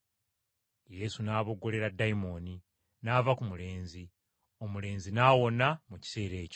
Yesu n’aboggolera dayimooni, n’ava ku mulenzi, omulenzi n’awona mu kiseera ekyo.